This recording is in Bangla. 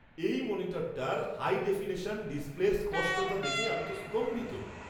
এই মনিটরটার হাই ডেফিনিশন ডিসপ্লের স্পষ্টতা দেখে আমি তো স্তম্ভিত!